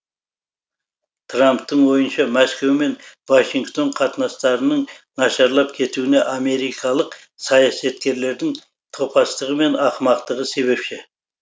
трамптың ойынша мәскеу мен вашингтон қатынастарының нашарлап кетуіне америкалық саясаткерлердің топастығы мен ақымақтығы себепші